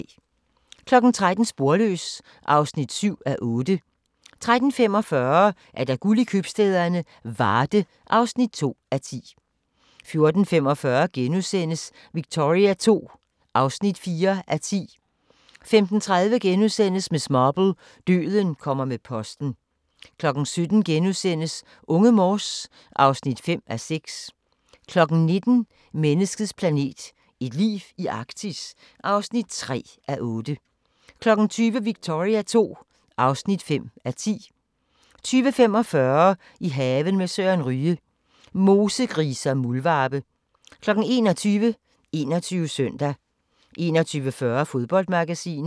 13:00: Sporløs (7:8) 13:45: Guld i købstæderne - Varde (2:10) 14:45: Victoria II (4:10)* 15:30: Miss Marple: Døden kommer med posten * 17:00: Unge Morse (5:6)* 19:00: Menneskets Planet – et liv i Arktis (3:8) 20:00: Victoria II (5:10) 20:45: I haven med Søren Ryge: Mosegrise og muldvarpe 21:00: 21 Søndag 21:40: Fodboldmagasinet